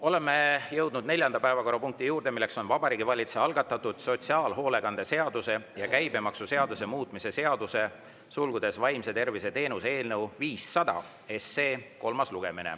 Oleme jõudnud neljanda päevakorrapunkti juurde, mis on Vabariigi Valitsuse algatatud sotsiaalhoolekande seaduse ja käibemaksuseaduse muutmise seaduse eelnõu 500 kolmas lugemine.